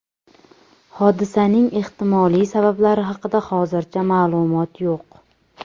Hodisaning ehtimoliy sabablari haqida hozircha ma’lumot yo‘q.